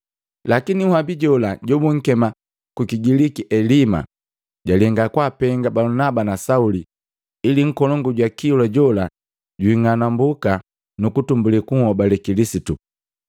Lakini nhabi jola, jobunkema kukigiliki Elima, jalenga kwaapenga Balunaba na Sauli ili nkolongu jwa kilwa jola jwing'anambuka nukutumbuli kunhobale Kilisitu.